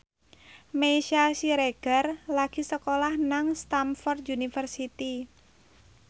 Meisya Siregar lagi sekolah nang Stamford University